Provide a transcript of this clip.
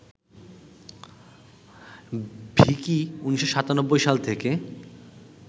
ভিকি ১৯৯৭ সাল থেকে